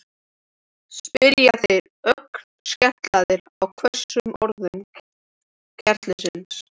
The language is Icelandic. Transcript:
spyrja þeir, ögn skelkaðir á hvössum orðum klerksins.